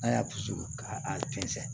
A y'a dusu ka a tɛnsɛn